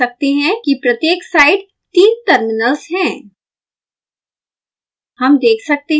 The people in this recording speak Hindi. यहाँ हम देख सकते हैं कि प्रत्येक साइड तीन टर्मिनल्स हैं